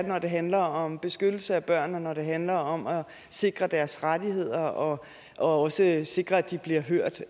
når det handler om beskyttelse af børn og når det handler om at sikre deres rettigheder og også sikre at de bliver hørt